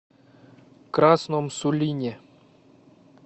красном сулине